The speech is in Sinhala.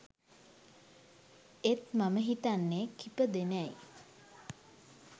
එත් මම හිතන්නේ කිපදෙනයි